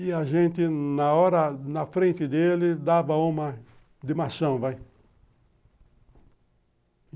E a gente, na hora, na frente dele, dava uma de machão, vai.